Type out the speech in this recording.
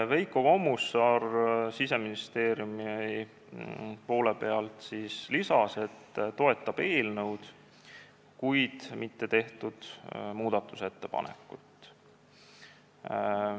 Veiko Kommusaar Siseministeeriumist lisas, et toetab eelnõu, kuid mitte muudatusettepanekut.